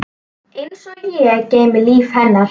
Einsog ég geymi líf hennar.